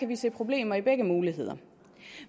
vi se problemer i begge muligheder